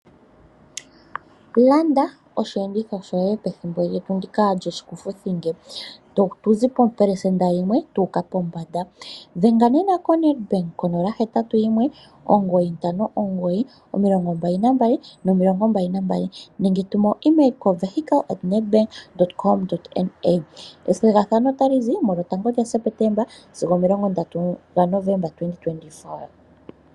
Landa osheenditho shoye pethimbo ndika lyishikufuthinge. Tatu zi po pelesenda yimwe tuuka pombanda. Dhenga nena koNetbank konomola 0819592222 nenge tuma etumwalaka lyoye kosheenditho.com.na. Ethigathano lizi 01 Septeemba sigo 30 Noveemba 2024.